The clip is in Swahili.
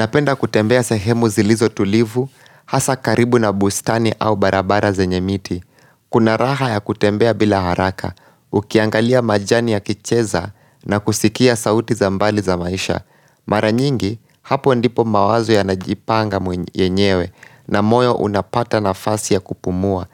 Napenda kutembea sahemu zilizotulivu, hasaa karibu na bustani au barabara zenye miti. Kuna raha ya kutembea bila haraka, ukiangalia majani yakicheza na kusikia sauti za mbali za maisha. Mara nyingi, hapo ndipo mawazo yanajipanga yenyewe na moyo unapata nafasi ya kupumua,